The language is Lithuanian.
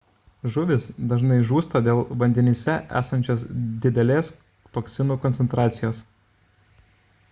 žuvys dažnai žūsta dėl vandenyse esančios didelės toksinų koncentracijos